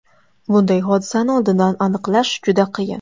Bunday hodisani oldindan aniqlash juda qiyin.